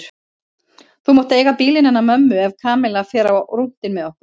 Þú mátt eiga bílinn hennar mömmu ef Kamilla fer á rúntinn með okkur